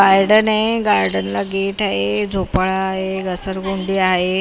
Garden आहे garden gate आहे झोपाळा आहे घसरगुंडी आहे .